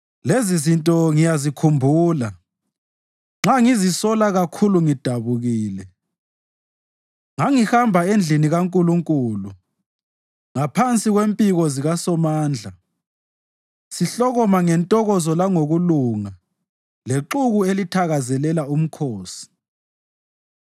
Lezizinto ngiyazikhumbula nxa ngizisola kakhulu ngidabukile: Ngangihamba endlini kaNkulunkulu, ngaphansi kwempiko zikaSomandla sihlokoma ngentokozo langokubonga lexuku elithakazelela umkhosi.